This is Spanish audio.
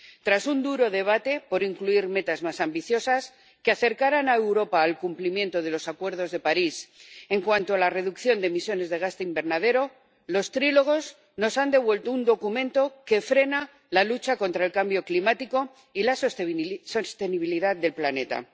Tras un duro debate por incluir metas más ambiciosas que acercaran a Europa al cumplimiento del Acuerdo de París en cuanto a la reducción de emisiones de gases de efecto invernadero, los trílogos nos han devuelto un documento que frena la lucha contra el cambio climático y la sostenibilidad del planeta.